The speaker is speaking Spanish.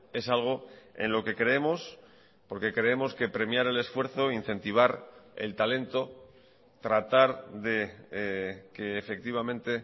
es algo en lo que creemos porque creemos que premiar el esfuerzo incentivar el talento tratar de que efectivamente